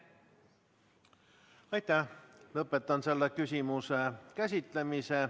Lõpetan selle küsimuse käsitlemise.